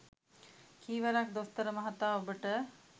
කී වරක් දොස්තර මහතා ඔබට